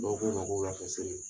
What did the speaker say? Bawo k'o mako bɛ